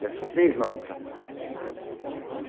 Dessas seis nota.